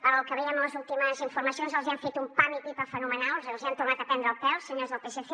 pel que veiem a les últimes informacions els hi han fet un pam i pipa fenomenal els hi han tornat a prendre el pèl senyors del psc